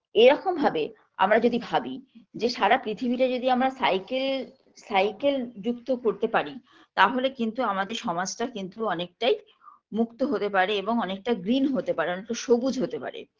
এরকম ভাবে আমরা যদি ভাবি যে সারা পৃথিবীটা যদি আমরা cycle cycle যুক্ত করতে পারি তাহলে কিন্তু আমাদের সমাজটা কিন্তু অনেকটাই মুক্ত হতে পারে এবং অনেকটা green হতে পারে অনেকটা সবুজ হতে পারে